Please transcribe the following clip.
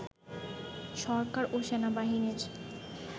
সরকার ও সেনাবাহিনীর